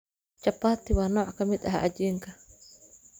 Chapati waa nooc ka mid ah cajiinka.